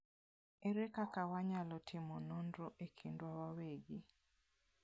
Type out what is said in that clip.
Ere kaka wanyalo timo nonro e kindwa wawegi?